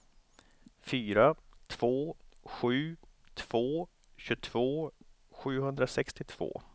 fyra två sju två tjugotvå sjuhundrasextiotvå